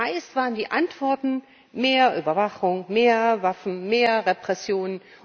Meist waren die Antworten mehr Überwachung, mehr Waffen, mehr Repression.